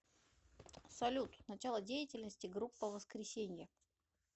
салют начало деятельности группа воскресенье